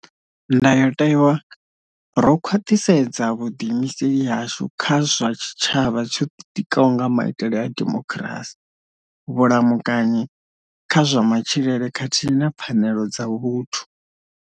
Ndayotewa, ro khwaṱhisedza vhuḓiimiseli hashu kha zwa tshitshavha tsho ḓitikaho nga maitele a demokirasi, vhulamukanyi kha zwa matshilele khathihi na pfanelo dza vhuthu.